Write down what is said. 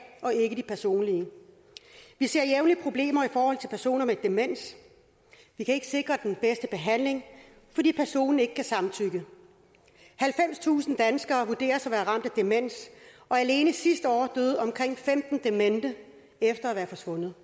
og ikke de personlige vi ser jævnligt problemer for personer med demens vi kan ikke sikre den bedste behandling fordi personen ikke kan samtykke halvfemstusind danskere vurderes at være ramt af demens og alene sidste år døde omkring femten demente efter at være forsvundet